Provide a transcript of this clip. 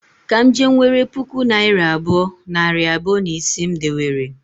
Ka m je nwere puku naịra abụọ, nari abụọ, na ise m dewere